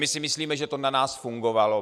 My si myslíme, že to na nás fungovalo.